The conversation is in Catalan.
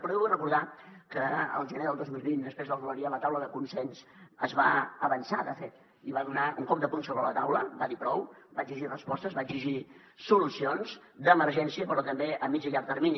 però jo vull recordar que el gener del dos mil vint després del glòria la taula de consens es va avançar de fet i va donar un cop de puny sobre la taula va dir prou va exigir respostes va exigir solucions d’emergència però també a mitjà i a llarg termini